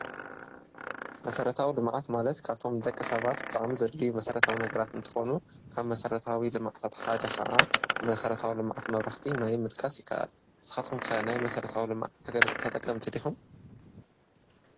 መሠረታዊ ልምዓት ማለት ካብቶም ደቀ ሰባት ብጣዕሚ ዘድልዩ መሥረታዊ ነገራት እንተኾኑ ካብ መሠረታዊ ልማዓት ኣቲ ሓደ ኸዓ መሠረታዊ ልማዕት መብራህቲ ፣ማይን ምጥቃስ ይከኣል፡፡ ንስኻትኩም ከ ናይ መሠረታዊ ልማዓት ተጠቀምቲ ዲኹም?